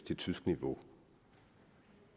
til tysk niveau